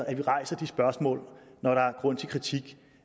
at vi rejser de spørgsmål når der er grund til kritik